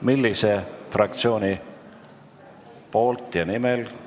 Millise fraktsiooni nimel?